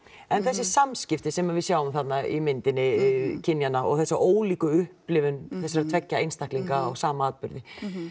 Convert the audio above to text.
en þessi samskipti sem að við sjáum þarna í myndinni kynjanna og þessa ólíku upplifun þessara tveggja einstaklinga á sama atburði